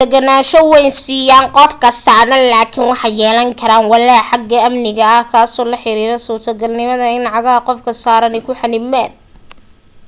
waxay deganaasho weyn siiyaan qofka saaran laakin waxay yeelan karaan walaac xagga amniga ah kaasoo la xiriira suurtagalnimada in cagaha qofka saarani ku xannibmaan